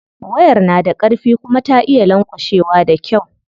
Wayar na da karfi kuma ta iya lanƙwashewa da kyau.